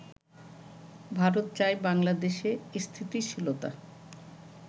ভারত চায় বাংলাদেশে স্থিতিশীলতা